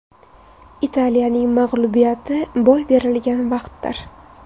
Italiyaning mag‘lubiyati boy berilgan vaqtdir.